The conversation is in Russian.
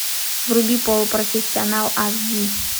вруби полупрофессионал ас ди